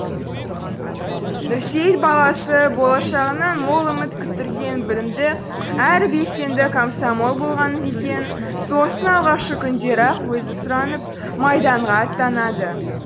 нұрсейіт баласы болашағынан мол үміт күттірген білімді әрі белсенді комсомол болған екен соғыстың алғашқы күндері ақ өзі сұранып майданға аттанады